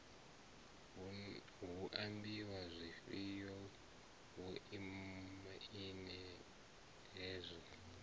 hu ambiwa zwifhio vhomaine hezwo